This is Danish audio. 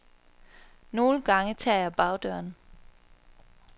Nogle gange tager jeg bagdøren.